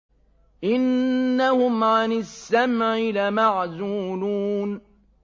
إِنَّهُمْ عَنِ السَّمْعِ لَمَعْزُولُونَ